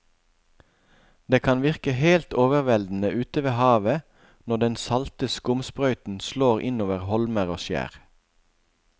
Det kan virke helt overveldende ute ved havet når den salte skumsprøyten slår innover holmer og skjær.